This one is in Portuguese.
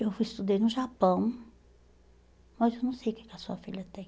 Eu fui, estudei no Japão, mas eu não sei o que que a sua filha tem.